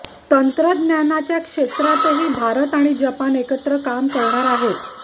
तंत्रज्ञानाच्या क्षेत्रातही भारत आणि जपान एकत्र काम करणार आहेत